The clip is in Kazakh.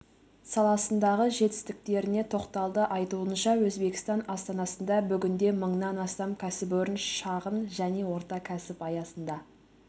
саласындағы жетістіктеріне тоқталды айтуынша өзбекстан астанасында бүгінде мыңнан астам кәсіпорын шағын және орта кәсіп аясында